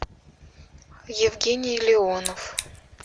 евгений леонов